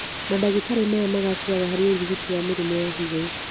Mandagĩtarĩ maya magacĩraga harĩ ũrigiti wa mĩrimũ ya higo